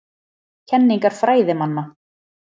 Kenningar fræðimanna.